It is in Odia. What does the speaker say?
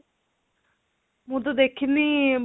ମୁଁ ତ ଦେଖିନି